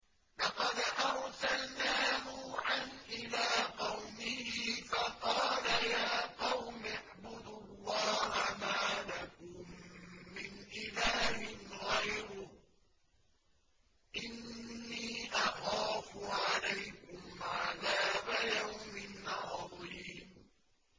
لَقَدْ أَرْسَلْنَا نُوحًا إِلَىٰ قَوْمِهِ فَقَالَ يَا قَوْمِ اعْبُدُوا اللَّهَ مَا لَكُم مِّنْ إِلَٰهٍ غَيْرُهُ إِنِّي أَخَافُ عَلَيْكُمْ عَذَابَ يَوْمٍ عَظِيمٍ